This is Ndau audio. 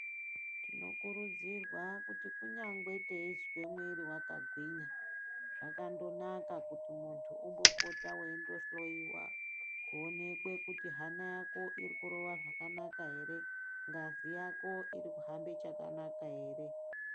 Tinokurudzirwa kuti kunyangwe teizwa muwiri wakagwinya zvakandonaka kuti munthu umbopota weindohloyiwa kuonekwe kuti hana yako iri kurowa zvakanaka ere, ngazi yako iri kuhambe chakanaka ere.